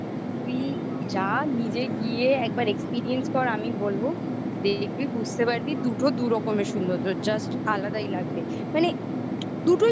তুই যা নিজে গিয়ে একবার experience কর আমি বলব দেখবি বুঝতে পারবি দুটো দুরকমের সৌন্দর্য. just আলাদাই লাগবে. মানে